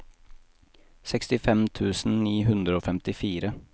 sekstifem tusen ni hundre og femtifire